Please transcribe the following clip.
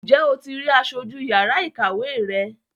Ǹjẹ́ o ti rí aṣojú yàrá ìkàwé rẹ?